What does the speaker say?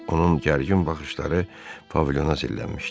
Onun gərgin baxışları pavilyona zillənmişdi.